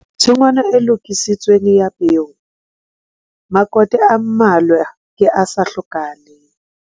Setshwantsho 3. Tshingwana e lokisitsweng ya peo - makote a mmalwa ke a sa hlokahaleng.